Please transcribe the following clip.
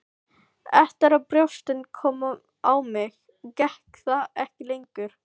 Eftir að brjóstin komu á mig gekk það ekki lengur.